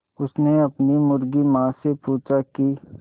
उसने अपनी मुर्गी माँ से पूछा की